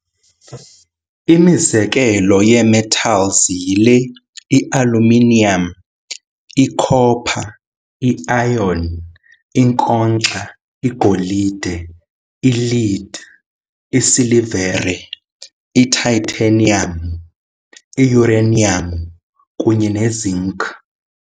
Imizekelo yee-metals yile- i-aluminium, i-copper, i-iron, i-nkonkxa, igolide, i-lead, i-silivere, i-titanium, i-uranium, kunye ne-zinc.